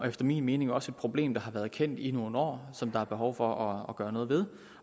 efter min mening også et problem der har været kendt i nogle år som der er behov for at gøre noget ved